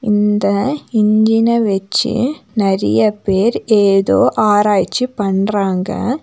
இந்த இஞ்சின வச்சி நெறைய பேர் ஏதோ ஆராய்ச்சி பண்றாங்க.